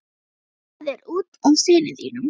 Það er út af syni þínum.